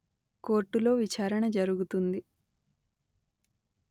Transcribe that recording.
కోర్టులో విచారణ జరుగుతుంది